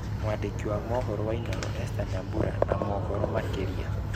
Mwandĩki wa mohoro wa Inooro Esther Nyambura na mohoro makĩria.